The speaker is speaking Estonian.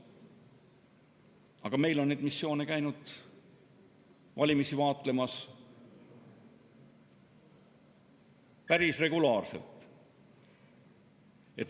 Aga meil käivad need missioonid valimisi vaatlemas päris regulaarselt.